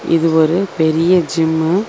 இது ஒரு பெரிய ஜிம்மு .